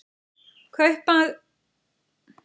Kaupmaður einn.